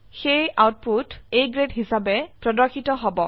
সেয়ে output A grade হিসাবে প্ৰদৰ্শিত হব